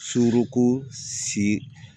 Suruko si